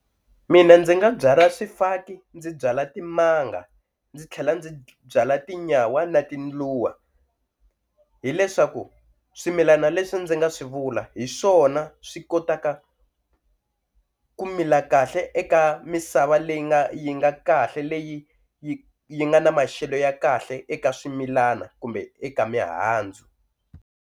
Mina ndzi nga byala swifaki, ndzi byala timanga, ndzi tlhela ndzi byala tinyawa na tindluwa hileswaku swimilana leswi ndzi nga swi vula hi swona swi kotaka ku mila kahle eka misava leyi nga yi nga kahle leyi yi yi nga na maxelo ya kahle eka swimilana kumbe eka mihandzu.